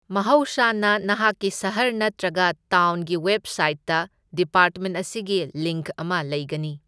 ꯃꯍꯧꯁꯥꯅ, ꯅꯍꯥꯛꯀꯤ ꯁꯍꯔ ꯅꯠꯇ꯭ꯔꯒ ꯇꯥꯎꯟꯒꯤ ꯋꯦꯕꯁꯥꯏꯠꯇ ꯗꯤꯄꯥꯔꯠꯃꯦꯟꯠ ꯑꯁꯤꯒꯤ ꯂꯤꯡꯛ ꯑꯃ ꯂꯩꯒꯅꯤ꯫